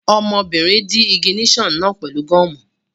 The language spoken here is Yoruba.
Ọmọbìnrin dí ìgìníṣà náà pẹ̀lú gọ́ọ̀mù